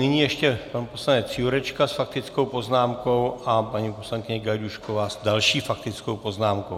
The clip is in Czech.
Nyní ještě pan poslanec Jurečka s faktickou poznámkou a paní poslankyně Gajdůšková s další faktickou poznámkou.